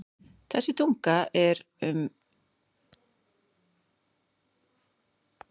Þessi tunga er árið um kring kaldari en sjórinn fyrir austan hana og sunnan.